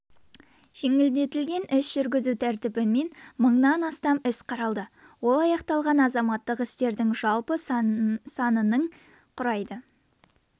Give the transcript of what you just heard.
жеңілдетілген іс жүргізу тәртібімен мыңнан астам іс қаралды ол аяқталған азаматтық істердің жалпы санының құрайды